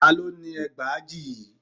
Ta ló ni ẹgbàajì yìí?